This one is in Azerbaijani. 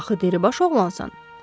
Axı dəlibaş oğlansan.